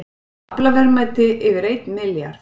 Aflaverðmæti yfir einn milljarð